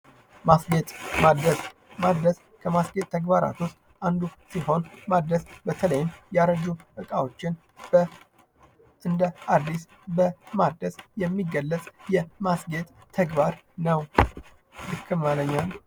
ማስጌጥ ማደስ ማደስ ከማስጌጥ ተግባራቶች ውስጥ አንዱ ሲሆን በተለይም የአረጁ እቃዎችን እንደ አዲስ በማደስ የሚገለጽ የማስጌጥ ተግባር ነው።